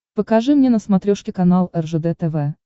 покажи мне на смотрешке канал ржд тв